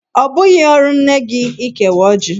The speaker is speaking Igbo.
Ọ bụghị ọrụ nne gi ịkewa ọjị.